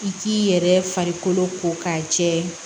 I k'i yɛrɛ farikolo ko k'a jɛ